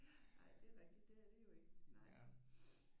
Ja ej det er rigtigt det er det jo ikke nej